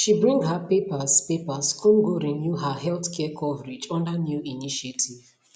she bring her papers papers come go renew her healthcare coverage under new initiative